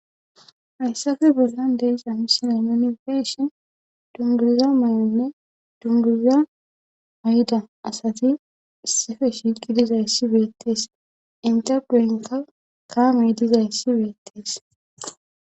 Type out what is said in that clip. hayssafe bollan de'iza misile nuni beyishin dunguza may7onne dunduriza ayida asati issefe shiiqi dizayssi beettees inte duynka kaamey dizayssi beettees